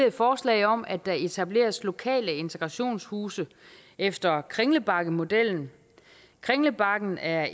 et forslag om at der etableres lokale integrationshuse efter kringlebakkenmodellen kringlebakken er